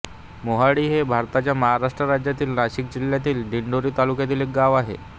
मोहाडी हे भारताच्या महाराष्ट्र राज्यातील नाशिक जिल्ह्यातील दिंडोरी तालुक्यातील एक गाव आहे